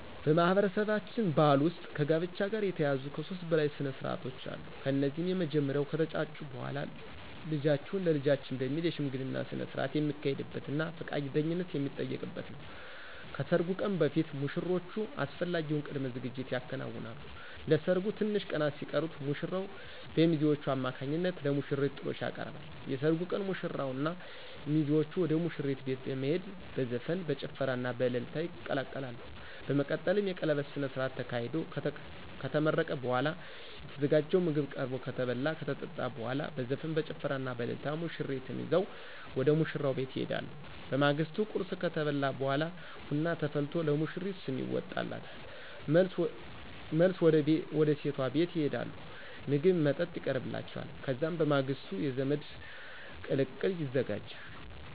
በማህበረሰባችን ባህል ውስጥ ከጋብቻ ጋር የተያያዙ ከሦስት በላይ ስነስርዓቶች አሉ። እነዚህም የመጀመሪያው ከተጫጩ በኋላ ልጃችሁን ለልጃችን በሚል የሽምግልና ስነስርዓት የሚካሄድበትና ፈቃደኝነት የሚጠየቅበት ነው። ከሰርጉ ቀን በፊት ሙሽሮቹ አስፈላጊውን ቅድመ ዝግጅት ያከናውናሉ። ለሰርጉ ትንሽ ቀናት ሲቀሩት ሙሽራው በሚዜዎቹ አማካኝነት ለሙሽሪት ጥሎሽ ያቀርባል። የሰርጉ ቀን ሙሽራውና ሚዜዎቹ ወደ ሙሽሪት ቤት በመሄድ በዘፈን፣ በጭፈራና በእልልታ ይቀላቀላሉ። በመቀጠልም የቀለበት ስነስርዓት ተካሂዶ ከተመረቀ በኋላ የተዘጋጀው ምግብ ቀርቦ ከተበላ ከተጠጣ በኋላ በዘፈን፣ በጭፈራና በእልልታ ሙሽሪትን ይዘው ወደ ሙሽራው ቤት ይሄዳሉ። በማግስቱ ቁርስ ከተበላ በኋላ ቡና ተፈልቶ ለሙሽሪት ስም ይወጣላታል። መልስ ወደ ሴቷ ቤት ይሄዳሉ ምግብ መጠጥ ይቀርብላቸዋል። ከዛም በማግስቱ የዘመድ ቅልቅል ይዘጋጃል።